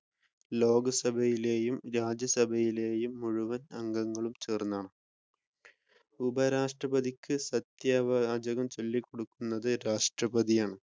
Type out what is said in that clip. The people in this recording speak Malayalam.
ലോകസഭയിലെയും രാജ്യസഭയിലെയും മുഴുവൻ അംഗങ്ങൾ ചേർന്നാണ്. ഉപരാഷ്ട്രപതിക്ക്‌ സത്യവാചകം ചൊല്ലി കൊടുക്കുന്നത് രാഷ്ട്രപതിയാണ്.